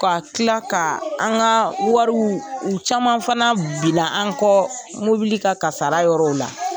ka tila ka an ka wariw u caman fana binna an kɔ mobili ka kasara yɔrɔ la.